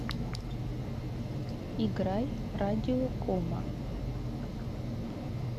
играй радиокома